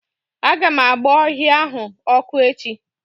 Aga m agba ọhịa ahụ ọkụ echi.